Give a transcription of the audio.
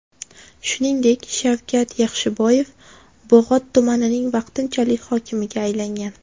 Shuningdek, Shavkat Yaxshiboyev Bog‘ot tumanining vaqtinchalik hokimiga aylangan .